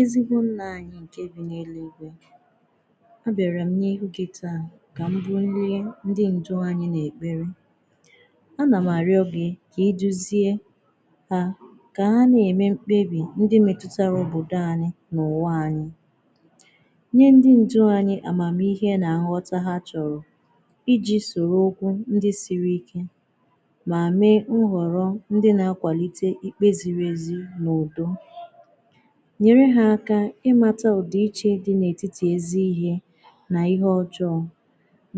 Ezigbò nnà anyị nkè bì n’elùigwe a bịàrà m n’ihu gì taa kà m bụ̀ ndị ndị ndụ anyị̀ n’ekperè a nà m arịọ̀ gị̀ kà iduziè ha kà ha na-emè m̄kpebì ndị metùtarà ōbodō anyị̀ n’ụwà anyị̀ nyè ndị ndụ̀ anyị̀ amàmihe nà nghọtà ha chọrọ̀ ijì soro ụkwụ̀ ndị sirì ike mà mee nhọrọ̀ ndị na-akwàlitè ikpè zirì ezì n’ụbụ̀ nyerè ha akà ịmàtà ọdị̀ ichè dị̀ n’etitì ezì ihe n’ihe ọjọọ̀